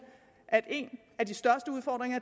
at en af de største udfordringer